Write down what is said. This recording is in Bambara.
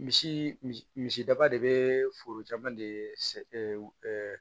Misi misi misi misidaba de be forojamana de